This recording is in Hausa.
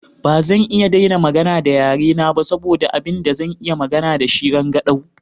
Ba zan iya daina magana da yare na ba saboda abin da zan iya magana da shi rangadau.